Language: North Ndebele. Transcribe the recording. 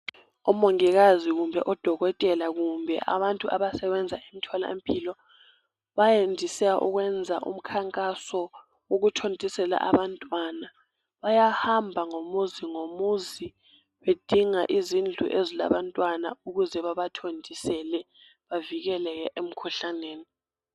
Omongikazi kumbe odokotela kumbe abantu abasebenza emtholampilo bayandise ukwenza umkhankaso ukuthontisela abantwana bayahamba ngomuzi ngomuzi bedinga izindlu ezilabantwana ukuze bathontisele abantwana babavikele emkhuhlaneni.